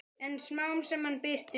En smám saman birtir upp.